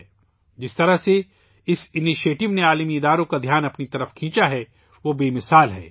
اس اقدام نے ، جس طرح بین الاقوامی اداروں کی توجہ اپنی جانب مبذول کی ہے ، وہ بے مثال ہے